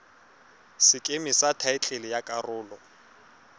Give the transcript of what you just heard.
sekeme sa thaetlele ya karolo